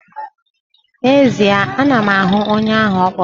N'ezie, ana m ahụ onye ahụ ọ kpụrụ.